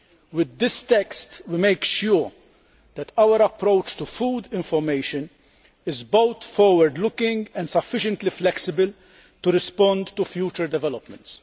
With this text, we ensure that our approach to food information is both forward looking and sufficiently flexible to respond to future developments.